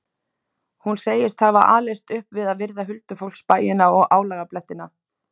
Hún segist hafa alist upp við að virða huldufólksbæina og álagablettina.